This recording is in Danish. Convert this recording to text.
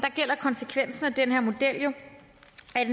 er konsekvensen af den her model at en